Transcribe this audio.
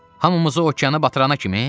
Hamımızı okeana batırana kimi?